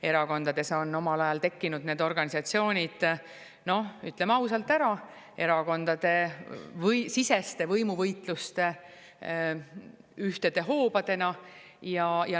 Erakondades on need organisatsioonid omal ajal tekkinud, ütleme ausalt ära, erakondadesiseste võimuvõitluste ühtede hoobadena.